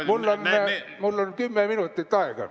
Mul oli kümme minutit aega.